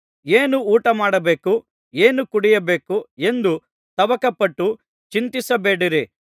ಏನು ಊಟ ಮಾಡಬೇಕು ಏನು ಕುಡಿಯಬೇಕು ಎಂದು ತವಕಪಟ್ಟು ಚಿಂತಿಸಬೇಡಿರಿ